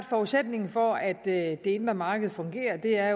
forudsætningen for at det indre marked fungerer er